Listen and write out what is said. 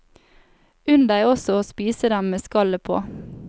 Unn deg også å spise dem med skallet på.